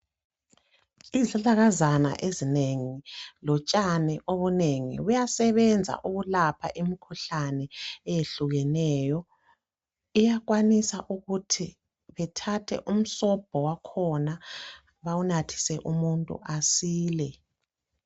Izihlahlakazana ezinengi lotshani obunengi buyasebenza ukulapha imikhuhlane eyehlukeneyo. Iyakwanisa ukuthi bethathe umsobho wakhona bawunathise umuntu asile.